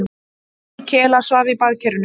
Vinur Kela svaf í baðkerinu.